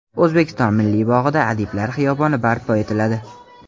O‘zbekiston Milliy bog‘ida Adiblar xiyoboni barpo etiladi.